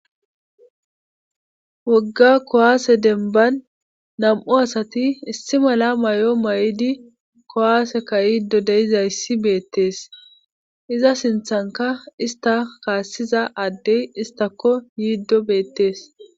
wogga kowaase denban nam7u asati issi mala may7o may7idi kowaaseka yiddo deizayssi beettees iza sinthanka ista kaassiza addey istako yiiddo beettees